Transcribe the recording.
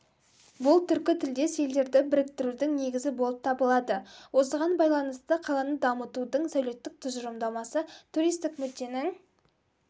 бұл түркітілдес елдерді біріктірудің негізі болып табылады осыған байланысты қаланы дамытудың сәулеттік тұжырымдамасы туристік мүдденің